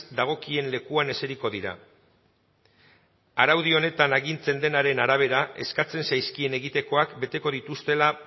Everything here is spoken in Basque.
dagokien lekuan eseriko dira araudi honetan agintzen denaren arabera eskatzen zaizkien egitekoak beteko dituztela